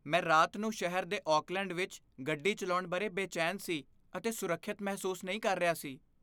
ਮੈਂ ਰਾਤ ਨੂੰ ਸ਼ਹਿਰ ਦੇ ਓਕਲੈਂਡ ਵਿੱਚ ਗੱਡੀ ਚਲਾਉਣ ਬਾਰੇ ਬੇਚੈਨ ਸੀ ਅਤੇ ਸੁਰੱਖਿਅਤ ਮਹਿਸੂਸ ਨਹੀਂ ਕਰ ਰਿਹਾ ਸੀ।